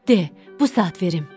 De, bu saat verim.